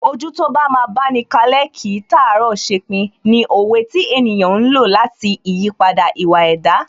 Ojú tó bá máa báni kalẹ́, kìí tàárọ̀ ṣepin ni òwe tí ènìyàn ń lò lati ìyípadà ìwà ẹ̀dá